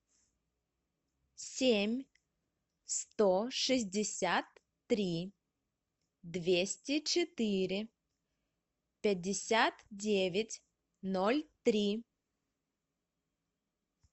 семь сто шестьдесят три двести четыре пятьдесят девять ноль три